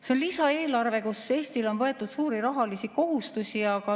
See on lisaeelarve, millega Eestile on võetud suuri rahalisi kohustusi.